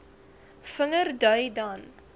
vinger dui dan